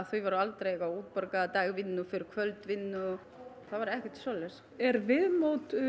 því var aldrei útborgað dagvinnu fyrir kvöldvinnu já það var ekkert svoleiðis er viðmót